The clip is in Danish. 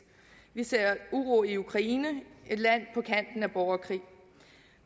vi ser uro i ukraine et land på kanten af borgerkrig